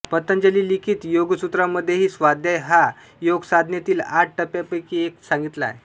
पतंजलि लिखित योगसूत्रांमध्येही स्वाध्याय हा योगसाधनेतील आठ टप्प्यांपैकी एक सांगितला आहे